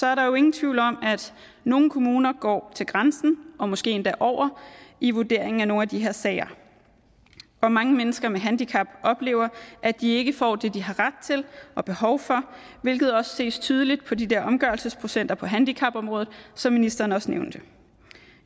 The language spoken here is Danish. er der jo ingen tvivl om at nogle kommuner går til grænsen og måske endda over i vurderingen af nogle af de her sager hvor mange mennesker med handicap oplever at de ikke får det de har ret til og behov for hvilket også ses tydeligt på de der omgørelsesprocenter på handicapområdet som ministeren også nævnte